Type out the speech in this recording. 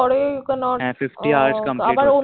হ্য়াঁ Fifty hours Complete